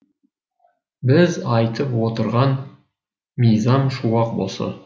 біз айтып отырған мизам шуақ осы